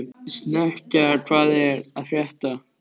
Snekkja, hvað er að frétta?